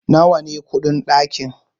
nawa ne kudin dakin?